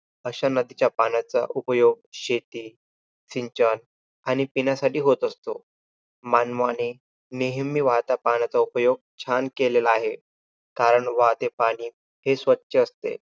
अशा नदीच्या पाण्याचा उपयोग शेती सिंचण आणि पिण्यासाठी होत असतो. मानवाने नेहमी वाहत्या पाण्याचा उपयोग छान केलेला आहे, कारण वाहते पाणी हे स्वछ असते.